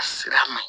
Sira ma